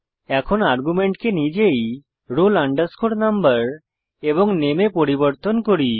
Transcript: এখন আর্গুমেন্টকে নিজেই roll number এবং নামে এ পরিবর্তন করি